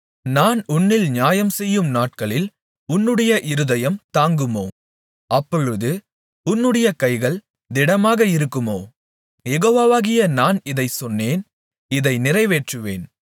நான் உன்னில் நியாயம்செய்யும் நாட்களில் உன்னுடைய இருதயம் தாங்குமோ அப்பொழுது உன்னுடைய கைகள் திடமாக இருக்குமோ யெகோவாகிய நான் இதைச் சொன்னேன் இதை நிறைவேற்றுவேன்